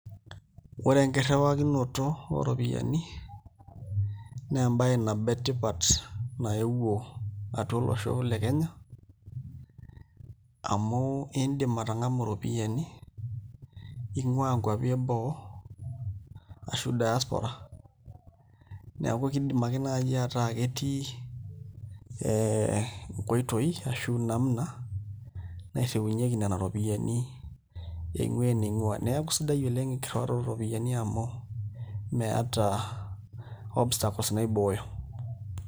Ore enkirriwakinoto ooropiyiani naa embaye nabo etipat naewuo atua olosho le Kenya amu iindip atang'amu iropiyiani ing'uaa nkuapi eboo ashu diaspora neeku kiidim ake naai ataa ketii nkoitoi ashu namna nairriunyieki nena ropiyiani eing'uaa ening'ua, neeku sidai oleng' enkirriwaroto ooropiyiani amu meeta obstacles naibooyo.